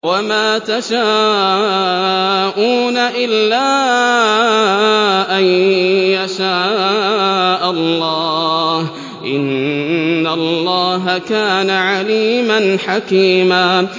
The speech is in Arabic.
وَمَا تَشَاءُونَ إِلَّا أَن يَشَاءَ اللَّهُ ۚ إِنَّ اللَّهَ كَانَ عَلِيمًا حَكِيمًا